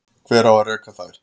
Hver á að reka þær?